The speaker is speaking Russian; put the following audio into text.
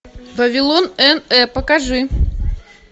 вавилон эн э покажи